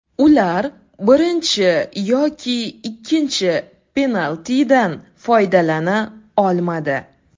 Ular birinchi yoki ikkinchi penaltidan foydalana olmadi.